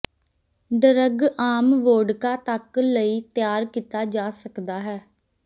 drug ਆਮ vodka ਤੱਕ ਲਈ ਤਿਆਰ ਕੀਤਾ ਜਾ ਸਕਦਾ ਹੈ